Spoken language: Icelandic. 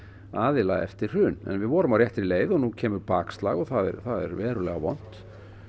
aðila eftir hrun en við vorum á réttri leið og nú kemur bakslag og það er verulega vont